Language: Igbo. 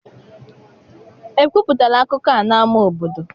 Ekwupụtala akụkọ a n'ámá obodo?